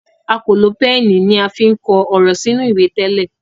a kò lo Pẹ́ẹ̀nì ní a fín kọ òrò sínú ìwé tẹlẹ